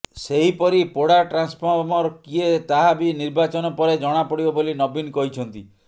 ସେହିପରି ପୋଡ଼ା ଟ୍ରାନ୍ସଫର୍ମର କିଏ ତାହା ବି ନିର୍ବାଚନ ପରେ ଜଣାପଡ଼ିବ ବୋଲି ନବୀନ କହିଛନ୍ତି